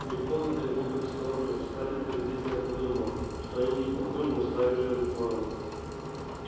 мельком взглянув в их сторону скарлетт презрительно подумала что они не похожи на стаю жирных ворон